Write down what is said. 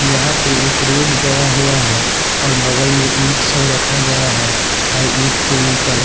यहां पे एक रोड गया हुआ है और बगल में ईंट सब रखा गया है और इट के ऊपर--